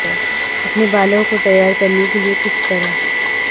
اپنے بالوں کو تیار کرنے کے لئے کس طرح